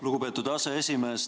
Lugupeetud aseesimees!